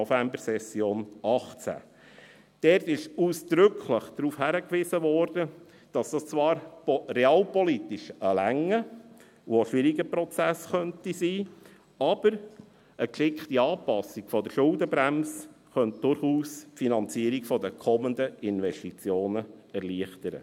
Dort wurde ausdrücklich darauf hingewiesen, dass dies zwar realpolitisch ein langer und auch schwieriger Prozess sein könnte, dass aber eine geschickte Anpassung der Schuldenbremse die Finanzierung der kommenden Investitionen erleichtern könnte.